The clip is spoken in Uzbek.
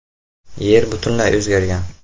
Yer butunlay o‘zgargan.